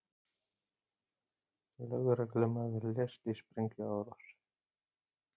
Lögreglumaður lést í sprengjuárás